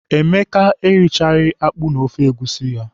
Emeka erichaghị akpụ na ofe egusi.